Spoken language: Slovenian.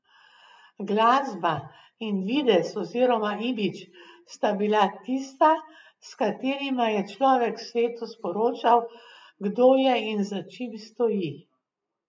Glasba in videz oziroma imidž sta bila tista, s katerima je človek svetu sporočal, kdo je in za čim stoji.